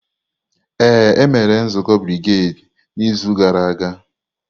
Ee, e mere nzukọ brigedi n'izu gara aga.